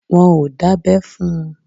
Wọn ò dábẹ́ fún un.